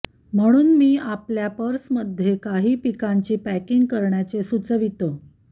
म्हणून मी आपल्या पर्समध्ये काही पिकांची पॅकिंग करण्याचे सूचवितो